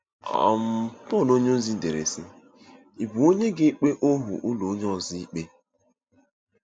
um Pọl onyeozi dere, sị: “Ị̀ bụ onye ga-ekpe ohu ụlọ onye ọzọ ikpe?